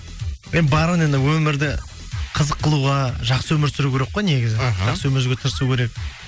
эй бар енді өмірді қызық қылуға жақсы өмір сүру керек қой негізі іхі жақсы өмір сүруге тырысу керек